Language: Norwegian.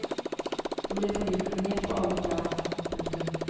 Det blir forviklinger på alle plan. punktum